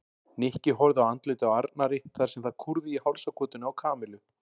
Nikki horfði á andlitið á Arnari þar sem það kúrði í hálsakotinu á Kamillu.